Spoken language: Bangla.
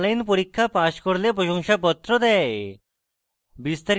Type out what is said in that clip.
online পরীক্ষা pass করলে প্রশংসাপত্র দেয়